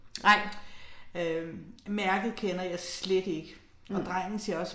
Nej. Mh